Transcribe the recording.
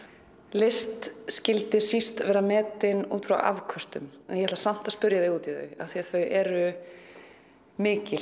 list skyldi síst vera metin út frá afköstum en ég ætla samt að spyrja þig út í þau því þau eru mikil